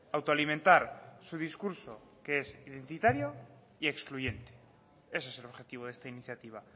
autoalimentar su discurso que es identitario y excluyente ese es el objetivo de esta iniciativa